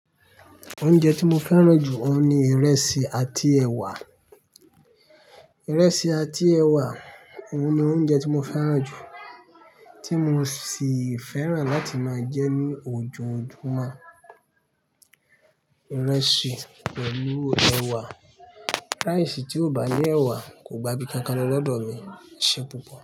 Oúnjẹ tí mo fẹ́ràn jù òun ni ìrẹsì àti ẹwà. Ìrẹsì àti ẹwà òun ni oúnjẹ tí mo fẹ́ràn jù, tí mo sì fẹ́ràn láti máa jẹ ní ojoojúmọ́. Ìrẹsì pẹ̀lú ẹwà, ráìsì tí ó bá ni ẹwà kò gba bíi nkankan lọ lọ́dọ̀ mi, eṣe pupọ̀